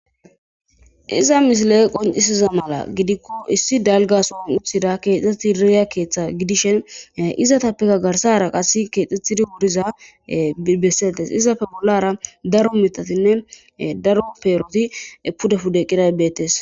Izza missile qoncisiza mala gidikko issi dalga sohon uttida kexethidi diyya keeththa gidishin izzathappekka garsara qasse kexethidi wuriza biri besethes izzape bollara daro mithaththine daro perothi pude pude eqidage bethess.